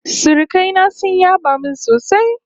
Surukai na sun yaba min sosai